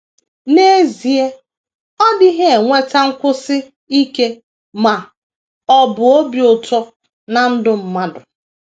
N’ezie, ọ dịghị eweta nkwụsi ike ma ọ bụ obi ụtọ ná ndụ mmadụ.